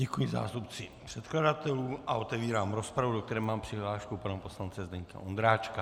Děkuji zástupci předkladatelů a otevírám rozpravu, do které mám přihlášku pana poslance Zdeňka Ondráčka.